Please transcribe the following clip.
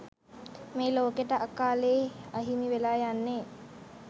මේ ලෝකෙට අකාලෙ අහිමිවෙලා යන්නෙ